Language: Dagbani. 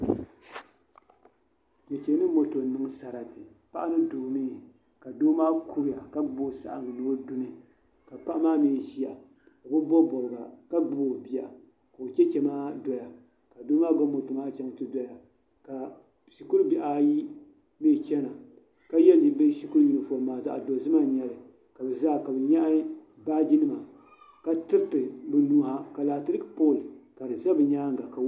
Chɛchɛ ni moto n niŋ sarati paɣa ni doo mii ka doo maa kuriya ka gbubi o saɣangi ni ni o duni ka paɣa maa mii ʒiya o bi bob bobga ka gbubi o bia ka o chɛchɛ maa doya ka doo maa gba moto maa chɛŋ ti doya ka shikuru bihi ayi mii chɛna ka yɛ bi shikuru yunifom maa zaɣ dozima n nyɛli ka bi zaa ka bi nyaɣa baaji nima ka tiriti bi nuwa ka laati pool ka di ʒɛ bi nyaanga